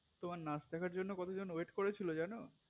তোমার নাচ দেখার জন্য কতজন wait করে ছিল জানো